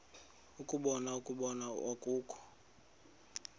ukubona ukuba akukho